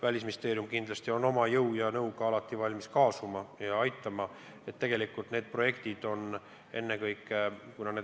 Välisministeerium kindlasti on oma jõu ja nõuga alati valmis kaasa tulema ja aitama.